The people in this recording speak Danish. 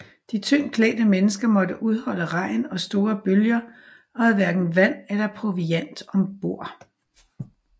De tyndt klædte mennesker måtte udholde regn og store bølger og havde hverken vand eller proviant ombord